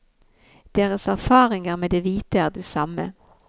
Deres erfaringer med de hvite er de samme.